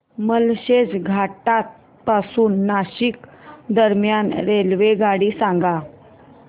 माळशेज घाटा पासून नाशिक दरम्यान रेल्वेगाडी सांगा